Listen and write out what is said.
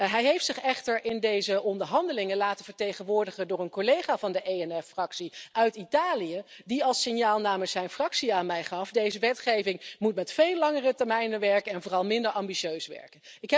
Hij heeft zich echter in deze onderhandelingen laten vertegenwoordigen door een collega van de ENF-fractie uit Italië, die als signaal namens zijn fractie aan mij gaf deze wetgeving moet met veel langere termijnen werken en vooral minder ambitieus zijn.